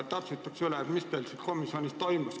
Täpsustan üle, mis teil siis komisjonis toimus.